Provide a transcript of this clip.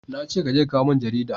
na ce ka je ka kawo min jarida!